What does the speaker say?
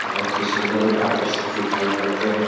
बोहोत ही सुन्दर और आकर्षित दिखाई पड़ते हैं।